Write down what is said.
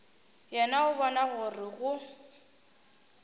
yena o bona gore go